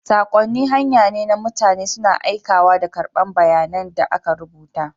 Saƙonni hanya ne na mutane suna aikawa da karɓar bayanan da aka rubuta.